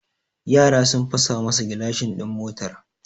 Yara sun fasa masa gilashin din motar